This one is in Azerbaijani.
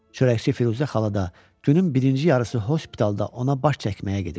Çörəkçi Firuzə xala da günün birinci yarısı hospitalda ona baş çəkməyə gedirdi.